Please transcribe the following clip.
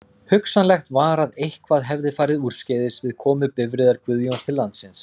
Hugsanlegt var að eitthvað hefði farið úrskeiðis við komu bifreiðar Guðjóns til landsins.